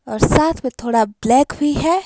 और साथ में थोड़ा ब्लैक भी है।